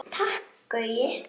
Takk Gaui.